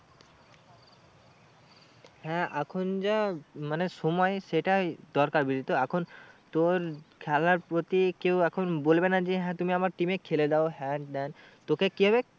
হ্যাঁ আখ যা মানে সময় সেটাই দরকার বুঝলি তো এখন তোর খেলার প্রতি কেউ এখন বলবে না যে হ্যাঁ তুমি আমার team এ খেলে দাও হ্যান ত্যান তোকে কি হবে